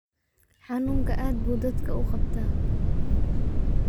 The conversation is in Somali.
Xanunka aad buu dadka uuqabtaa.